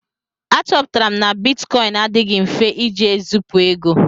Achọpụtara m na bitkọịn adịghị mfe iji ezipu ego.